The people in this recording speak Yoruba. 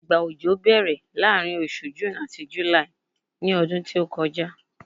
igba ọjọ bèèrè laarin osù June ati July ní ọdún tí o kọjá